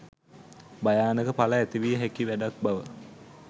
භයානක ඵල ඇතිවිය හැකි වැඩක් බව